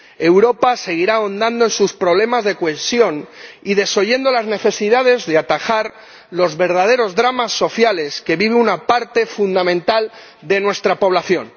Europa seguirá ahondando sus problemas de cohesión y desoyendo las necesidades de atajar los verdaderos dramas sociales que vive una parte fundamental de nuestra población.